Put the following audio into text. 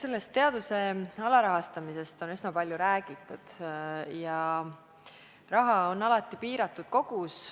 Eks teaduse alarahastamisest on üsna palju räägitud ja raha on alati piiratud kogus.